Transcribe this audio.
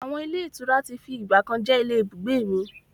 Àwọn ilé ìtura tí fi ìgbàkan jẹ́ ilé ibùgbé mi.